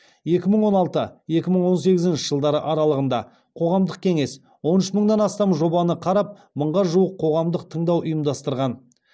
екі мың он алты екі мың он сегізінші жылдары аралығында қоғамдық кеңес он үш мыңнан астам жобаны қарап мыңға жуық қоғамдық тыңдау ұйымдастырған